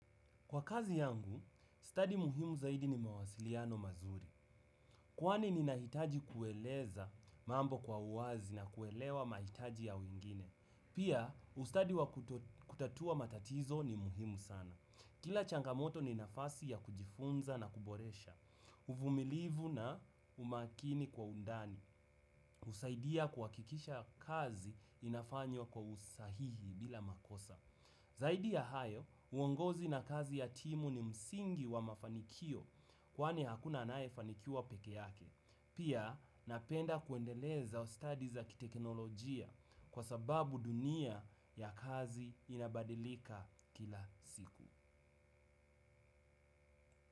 Kwa kazi yangu, stadi muhimu zaidi ni mawasiliano mazuri. Kwani ninahitaji kueleza mambo kwa uwazi na kuelewa mahitaji ya wengine. Pia, ustadi wa kutatua matatizo ni muhimu sana. Kila changamoto ni nafasi ya kujifunza na kuboresha. Uvumilivu na umakini kwa undani. Husaidia kuhakikisha kazi inafanywa kwa usahihi bila makosa. Zaidi ya hayo, uongozi na kazi ya timu ni msingi wa mafanikio kwani hakuna anayefanikiwa peke yake. Pia napenda kuendeleza ustadi za kiteknolojia kwa sababu dunia ya kazi inabadilika kila siku.